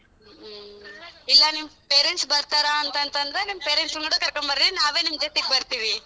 ಹ್ಮ್, ಇಲ್ಲ ನಿಮ್ parents ಬರ್ತಾರ ಅಂತ ಅಂತಂದ್ರೆ ನಿಮ್ parents ಕೂಡ ಕರ್ಕಬರ್ರಿ ನಾವೇ ನಿಮ್ಮ ಜೊತೆಗ್ ಬರ್ತೀವಿ.